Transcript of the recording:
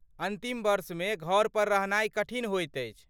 अन्तिम वर्षमे घरपर रहनाइ कठिन होइत अछि